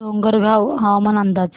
डोंगरगाव हवामान अंदाज